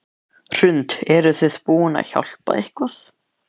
Hrund: Eruð þið búin að hjálpa til eitthvað?